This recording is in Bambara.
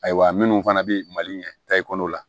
Ayiwa minnu fana bɛ mali in ɲɛ ta i kɔnɔ la